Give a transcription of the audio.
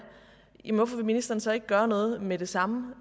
hvorfor vil ministeren så ikke gøre noget med det samme